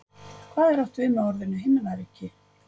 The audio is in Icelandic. Hvað er átt við með orðinu Himnaríki?